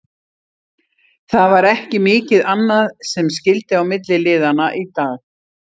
Það var ekki mikið annað sem skyldi á milli liðanna í dag.